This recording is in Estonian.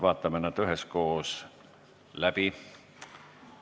Vaatame nad üheskoos läbi.